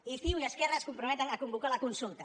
i ciu i esquerra es comprometen a convocar la consulta